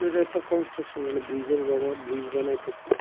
এটা একটা কনস্ট্রাকশন মানে ব্রীজের জায়গায় ব্রীজ বানাইতাসে।